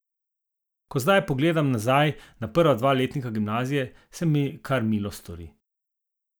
Ko zdaj pogledam nazaj na prva dva letnika gimnazije, se mi kar milo stori.